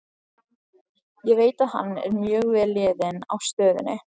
Ég veit að hann er mjög vel liðinn á stöðinni.